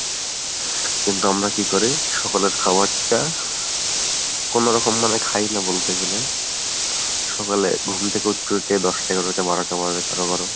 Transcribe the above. কিন্তু আমরা কী করি সকালের খাবারটা কোনোরকম মানে খাইনা বলতে গেলে সকালে ঘুম থেকে উঠতে উঠতে দশটা এগারোটা বারোটা বাজে কারো কারো।